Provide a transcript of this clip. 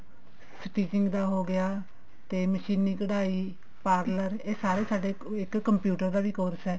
stitching ਦਾ ਹੋਗਿਆ ਤੇ ਮਸ਼ੀਨੀ ਕਢਾਈ parlor ਇਹ ਸਾਰੇ ਸਾਡੇ ਇੱਕ computer ਦਾ ਵੀ course ਹੈ